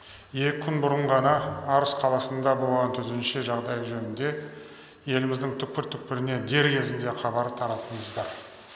екі күн бұрын ғана арыс қаласында болған төтенше жағдай жөнінде еліміздің түкпір түкпіріне дер кезінде хабар тараттыңыздар